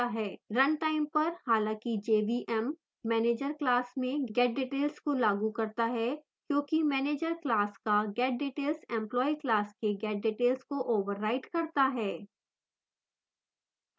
run time पर हालांकि jvm manager class में getdetails को लागू करता है क्योंकि manager class का getdetails employee class के getdetails को overrides करता है